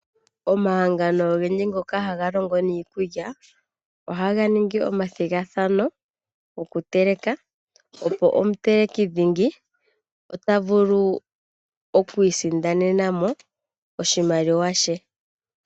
Omahangano ogendji ngoka haga longo niikulya ohaga ningi omathigathano goku teleka, opo omuteleki dhingi ota vulu oku isindanena mo oshimaliwa she.